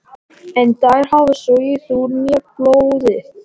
En þær hafa sogið úr mér blóðið.